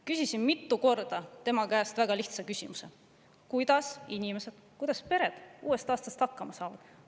Küsisin mitu korda tema käest väga lihtsa küsimuse: kuidas inimesed, pered uuest aastast hakkama saavad?